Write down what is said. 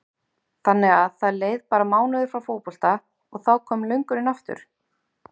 Þannig að það leið bara mánuður frá fótbolta og þá kom löngunin aftur?